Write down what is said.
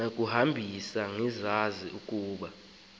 nakukuhambisa engazi ukuba